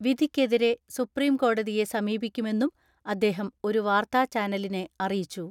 വിധിക്കെതിരെ സുപ്രീംകോടതിയെ സമീപിക്കുമെന്നും അദ്ദേഹം ഒരു വാർത്താചാനലിനെ അറിയിച്ചു.